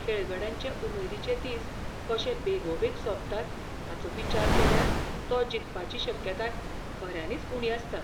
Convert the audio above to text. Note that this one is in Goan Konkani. खेळगड्यांचे उमेदीचे दिस कशे बेगोबेग सोंपतात हाचो विचार केल्यार तो जिखपाची शक्यताय खऱ्यांनीच उणी आसता.